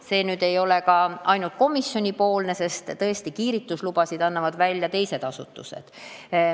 See ei ole ka ainult komisjoni viga, sest kiirgustegevuslubasid annavad välja teised asutused.